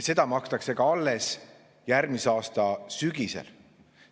Seda makstakse ka alles järgmise aasta sügisel.